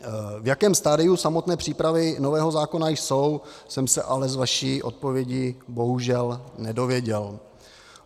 V jakém stadiu samotné přípravy nového zákona jsou, jsem se ale z vaší odpovědi bohužel nedověděl.